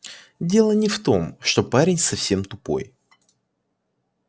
дело не в том что парень совсем тупой